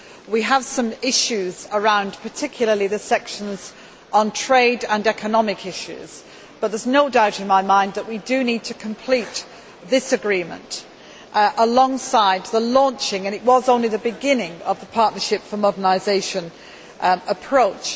We have some issues, particularly concerning the sections on trade and economic matters, but there is no doubt in my mind that we do need to complete this agreement, alongside the launching and it was only the beginning of the Partnership for Modernisation approach.